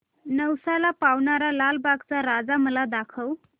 नवसाला पावणारा लालबागचा राजा मला दाखव